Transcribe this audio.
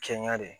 Kɛɲɛ de